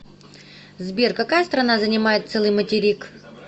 сбер какая страна занимает целый материк